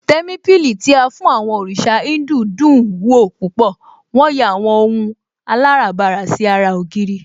Témípìlì tí a fún àwọn òrìṣà Híńdù dùn ún wò púpọ̀, wón yà àwọn ohun aláràbarà sí ara ògiri